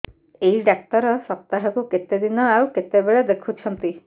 ଏଇ ଡ଼ାକ୍ତର ସପ୍ତାହକୁ କେତେଦିନ ଆଉ କେତେବେଳେ ଦେଖୁଛନ୍ତି